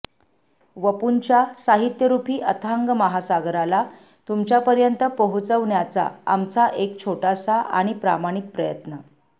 वपुंच्या साहित्यरूपी अथांग महासागराला तुमच्यापर्यंत पोहोचवण्याचा आमचा हा एक छोटासा आणि प्रामाणिक प्रयत्न